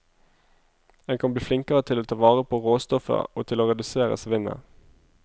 En kan bli flinkere til å ta vare på råstoffet og til å redusere svinnet.